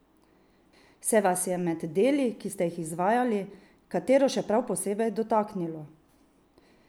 Se vas je med deli, ki ste jih izvajali, katero še prav posebej dotaknilo?